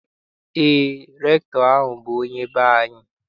Eé, rektọ ahụ bụ onye be anyị.